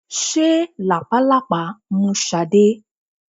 Ṣé làpálàpá mú Sade?